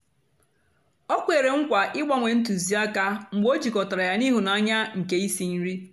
Ọ kwèrè ńkwà ịgbà ńwé ńtụzị ákà mgbe ọ jịkọ̀tàrà yá iḥụ́ n'ányá nke ísí-ńrì.